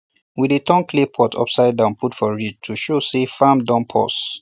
we dey turn clay pot upside down put for ridge to show say farm don pause